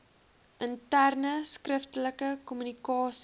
interne skriftelike kommunikasie